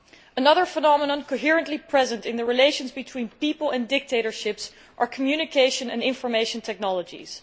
Another phenomenon consistently present in the relations between people and dictatorships is communication and information technologies.